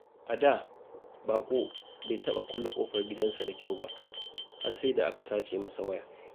A da, Baƙo bai taɓa kulle ƙofar gidansa da kyau ba, har sai da aka sace masa waya.